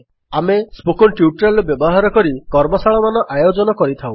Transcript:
ଆମେ spoken tutorial ର ବ୍ୟବହାର କରି କର୍ମଶାଳାମାନ ଆୟୋଜନ କରିଥାଉ